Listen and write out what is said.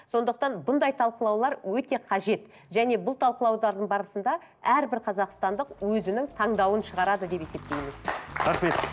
сондықтан бұндай талқылаулар өте қажет және бұл талқылаулардың барысында әрбір қазақстандық өзінің таңдауын шығарады деп есептейміз рахмет